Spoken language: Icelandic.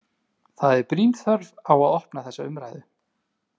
Það er brýn þörf á að opna þessa umræðu.